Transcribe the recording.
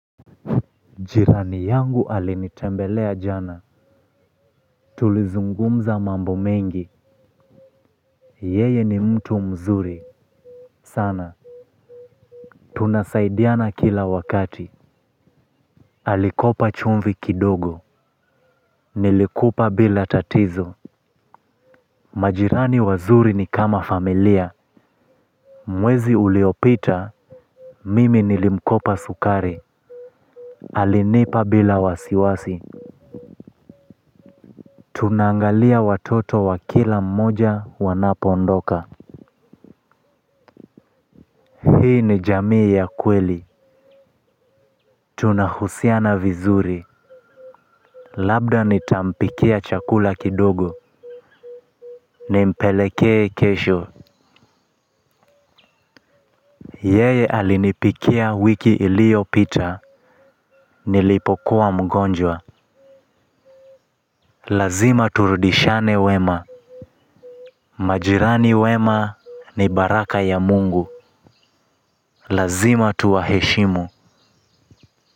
Chirani yangu alinitembelea jana. Tulizungumza mambo mengi. Yeye ni mtu mzuri Sana. Tunasaidiana kila wakati. Alikopa chumvi kidogo. Nilikupa bila tatizo. Majirani wazuri ni kama familia mwezi uliopita mimi nilimkopa sukari. Alinipa bila wasiwasi. Tunaangalia watoto wa kila mmoja wanapondoka. Hii ni jamii ya kweli tunahusiana vizuri labda nitampikia chakula kidogo. Nimpelekee kesho. Yeye alinipikia wiki iliyopita. Nilipokuwa mgonjwa lazima turudishane wema. Majirani wema ni baraka ya mungu. Lazima tuwaheshimu.